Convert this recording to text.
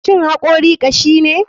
Shin hakori kashine?